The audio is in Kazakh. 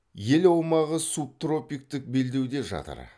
ел аумағы субтропиктік белдеуде жатыр